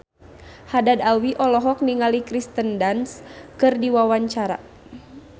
Haddad Alwi olohok ningali Kirsten Dunst keur diwawancara